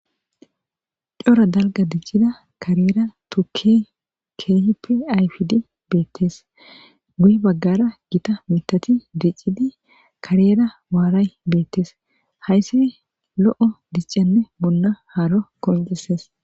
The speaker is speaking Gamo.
Coora dalgga diccida kaarera tuukey kehippe ayffidi bettes guyye baggara giitta miththati diccidi kaarera waaray bettes hayssi lo'o dichchane bolla haaro qonccises.